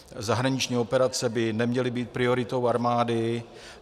Zahraniční operace by neměly být prioritou armády.